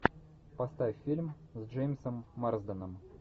поставь фильм с джеймсом марсденом